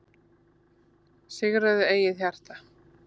Sigraðu eigið hjarta,